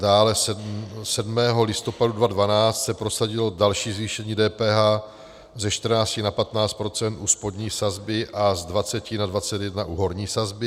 Dále 7. listopadu 2012 se prosadilo další zvýšení DPH ze 14 na 15 % u spodní sazby a z 20 na 21 % u horní sazby.